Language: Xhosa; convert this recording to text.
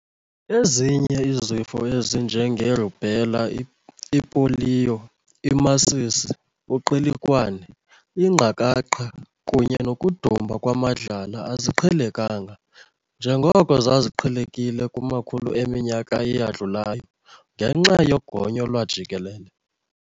Ezinye izifo ezinje nge-rubella, ipoliyo, imasisi, uqilikwane, ingqakaqha, kunye nokudumba kwamadlala aziqhelekanga njengoko zaziqhelekile kumakhulu eminyaka eyadlulayo ngenxa yogonyo lwajikelele.